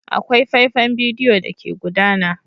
Akwai faifan bidiyo da ke gudana.